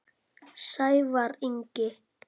Sævar Ingi.